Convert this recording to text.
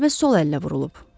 Bu zərbə sol əllə vurulub.